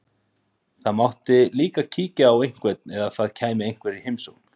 Það mátti líka kíkja á einhvern, eða það kæmi einhver í heimsókn.